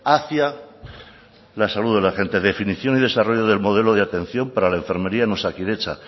hacia la salud de la gente definición y desarrollo del modelo de atención para la enfermería en osakidetza